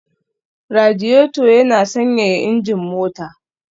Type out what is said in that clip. Radiator yana sanyaya injin mota